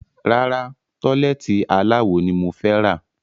Rárá, tọ́lẹ́ẹ́tì aláwo ni mo fẹ́ rà.